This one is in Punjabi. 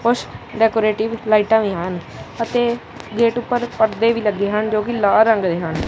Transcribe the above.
ਕੁਛ ਡੈਕੋਰੇਟਿਵ ਲਾਈਟਾਂ ਵੀ ਹਨ ਅਤੇ ਗੇਟ ਉੱਪਰ ਪਰਦੇ ਵੀ ਲੱਗੇ ਹਨ ਜੋ ਕਿ ਲਾਲ ਰੰਗ ਦੇ ਹਨ।